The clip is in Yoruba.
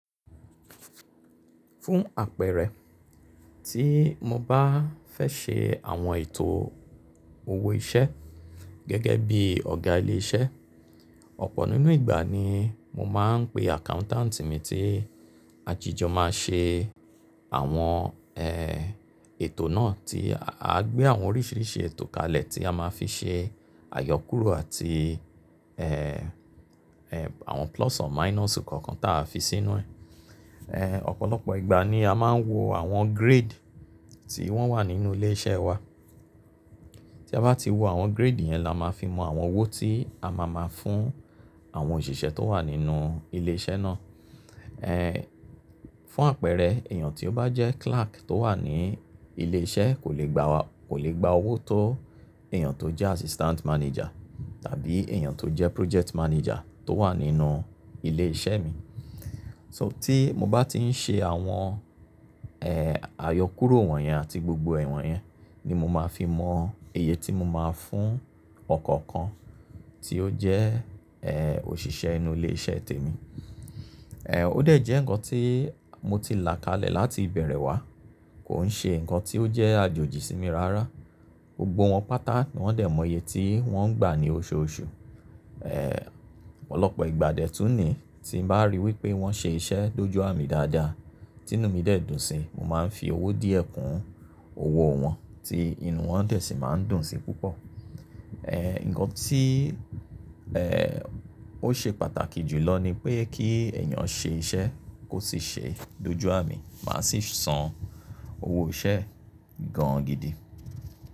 Fún àpẹẹrẹ, tí mo bá fẹ́ ṣe àwọn ètò owó iṣẹ́ gẹ́gẹ́ bí Ọ̀gá ilé iṣẹ́, ọ̀pọ̀ nínú ìgbà ni mo máa ń pe accountant mi tí àjíjọ máa ṣe àwọn, ẹ, ètò náà tí a gbé àwọn oríṣiríṣi ètò kalẹ̀ tí a máa fi ṣe àyọkúrò àti, ẹ, ẹ, àwọn plus and minus kọ̀ọ̀kan tí a fi sínú ẹ̀. Ẹ, ọ̀pọ̀lọpọ̀ ìgbà ni a máa ń wo àwọn grade tí wọ́n wà nínú ilé iṣẹ́ wa. Tí a bá ti wo àwọn grade yẹn la máa fi mọ àwọn owó tí a máa máa fún àwọn òṣìṣẹ́ tó wà nínú ilé iṣẹ́ náà. Ẹ, fún àpẹẹrẹ, èèyàn tí ó bá jẹ́ clerk tó wà ní ilé iṣẹ́ kò lè gba wa-- kò lè gba owó tó èèyàn tó jẹ́ assistant manager tàbí èèyàn tó jẹ́ project manager tó wà nínú ilé iṣẹ́ mi. So tí mo bá ti ń ṣe àwọn, ẹ, àyọkúrò wọ̀nyẹn àti gbogbo ẹ̀wọ̀n yẹn ni mo máa fi mọ iye tí mo máa fún ọ̀kọ̀ọ̀kan tí ó jẹ́, ẹ, òṣìṣẹ́ inú ilé iṣẹ́ tèmi. Ẹ, ó dẹ̀ jẹ́ ǹkan tí mo ti là kalẹ̀ láti ìbẹ̀rẹ̀ wá, kò ń ṣe ǹkan tí ó jẹ́ àjòjì sí mi rárá. Gbogbo wọn pátá ni wọ́n dẹ̀ mọ iye tí wọ́n gbà ní oṣooṣù. Ẹ, ọ̀pọ̀lọpọ̀ ìgbà d'ẹ́tùn ni tí mbá ríi wí pé wọ́n ṣe iṣẹ́ dójú àmì dáadáa, tí inú mi dẹ̀ dùn síi, mo máa ń fi owó díẹ̀ kún owó wọn tí inú wọn dẹ̀ sì máa ń dùn sí púpọ̀. Ẹ, ǹkan tí, ẹ, ó ṣe pàtàkì jù lọ ni pé kí ẹ̀yàn ṣe iṣẹ́ kó sì ṣe ẹ́ dójú àmì, màá sì san owó iṣẹ́ gan gidi.